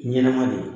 Ɲɛnɛma de